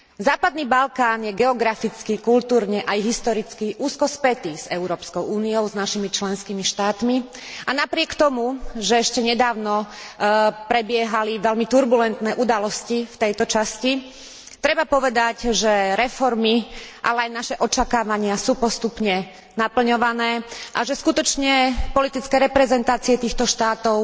Západný Balkán je geograficky, kultúrne aj historicky úzko spätý s Európskou úniou, s našimi členskými štátmi, a napriek tomu, že ešte nedávno prebiehali veľmi turbulentné udalosti v tejto časti, treba povedať, že reformy, ale aj naše očakávania sú postupne naplňované, a že skutočne politické reprezentácie týchto štátov